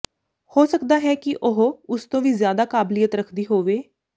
ਹੋ ਸਕਦਾ ਹੈ ਕਿ ਉਹ ਉਸ ਤੋਂ ਵੀ ਜ਼ਿਆਦਾ ਕਾਬਲੀਅਤ ਰੱਖਦੀ ਹੋਵੇ